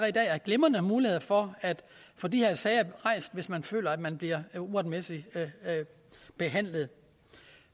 i dag er glimrende muligheder for at få de her sager rejst hvis man føler at man bliver uretmæssigt behandlet